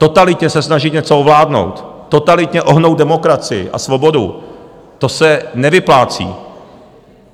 Totalitně se snažit něco ovládnout, totalitně ohnout demokracii a svobodu, to se nevyplácí.